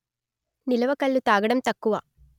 నిలవ కల్లు తాగటం తక్కువ